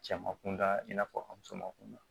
Cɛman kunda i n'a fɔ a musoman kunda